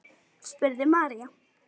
spurði María.